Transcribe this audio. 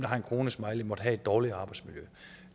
der har en kronesmiley måtte have et dårligere arbejdsmiljø